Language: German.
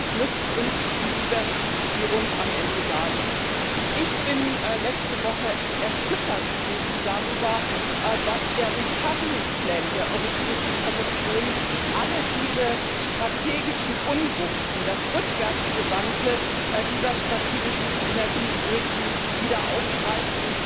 wird. Sonst nützt uns die Diversifizierung am Ende gar nichts. Ich war letzte Woche erschüttert darüber, dass der Recovery Plan der Europäischen Kommission alle diese strategischen Unwuchten, das Rückwärtsgewandte dieser strategischen Energy Review, wieder aufgreift.